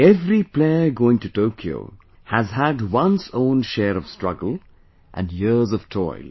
Every player going to Tokyo has had one's own share of struggle, and years of toil